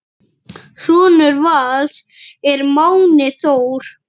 Sonur Vals er Máni Þór.